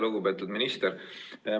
Lugupeetud minister!